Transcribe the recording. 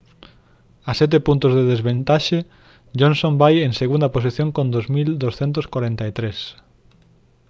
a sete puntos de desvantaxe johnson vai en segunda posición con 2243